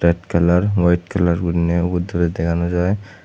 kalar waite kalar gurinei ubot doley dega naw jai.